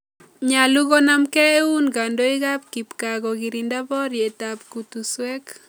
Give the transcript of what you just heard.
Nyalu konamke eun kandoik ap kipkaa kokitinda poryet ap kutuswek.